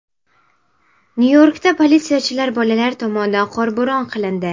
Nyu-Yorkda politsiyachilar bolalar tomonidan qorbo‘ron qilindi .